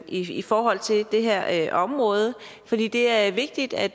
i forhold til det her område for det det er vigtigt at